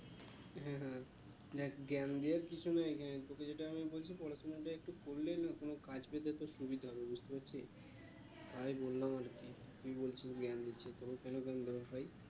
হ্যাঁ হ্যাঁ দেখ জ্ঞান দেওয়ার কিছু নেই তোকে আমি যেটা বলছি পড়াশোনাটা একটু করলে না কোনো কাজ পেতে তোর সুবিধা হবে বুঝতে পারছিস তাই বললাম আর কি তুই বলছিস জ্ঞান দিচ্ছি তোকে কেন জ্ঞান দেব ভাই